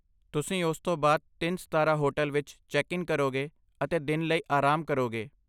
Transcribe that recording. ਤੁਸੀਂ ਉਸ ਤੋਂ ਬਾਅਦ ਤਿੰਨ ਸਿਤਾਰਾ ਹੋਟਲ ਵਿੱਚ ਚੈੱਕ ਇਨ ਕਰੋਗੇ ਅਤੇ ਦਿਨ ਲਈ ਆਰਾਮ ਕਰੋਗੇ